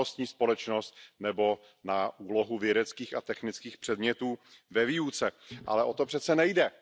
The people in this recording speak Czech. znalostní společnost nebo na úlohu vědeckých a technických předmětů ve výuce, ale o to přeci nejde.